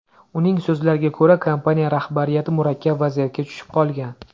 Uning so‘zlariga ko‘ra, kompaniya rahbariyati murakkab vaziyatga tushib qolgan.